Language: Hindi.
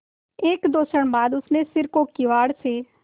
एकदो क्षण बाद उसने सिर को किवाड़ से